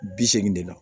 Bi seegin de la